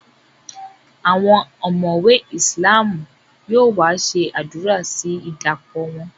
Àwọn omowe islam yóò wá ṣe àdúrà sí idapo wọn